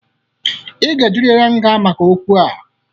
Ị ga-ejeriri nga maka okwu a.